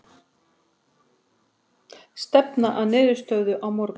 Stefna að niðurstöðu á morgun